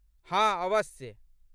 हाँ, अवश्य ।